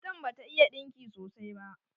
Matan bata iya ɗinki sosai ba.